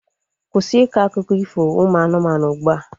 Kwụsị ịkọ akụkọ ifo ụmụ anụmanụ ugbua!